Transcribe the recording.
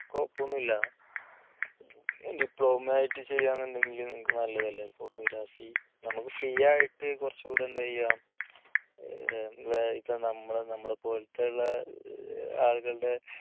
കുഴപ്പമൊന്നുമില്ല diploma ആയിട്ട് ചെയ്യാനുണ്ടെങ്കിൽ നിങ്ങൾക്ക് നല്ലതല്ലേ photography നമുക്ക് free ആയിട്ട് കുറച്ചുകൂടെ എന്താ ചെയ്യാ നമ്മൾ നമ്മളെ പോലത്തെയുള്ള ആളുകളുടെ